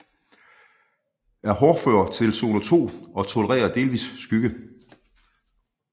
Er hårdfør til zone 2 og tolererer delvis skygge